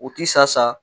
U ti sa